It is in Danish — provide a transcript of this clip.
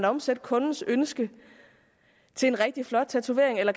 omsætte kundens ønske til en rigtig flot tatovering eller